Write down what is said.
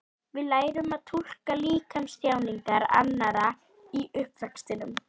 Við lærum að túlka líkamstjáningu annarra í uppvextinum.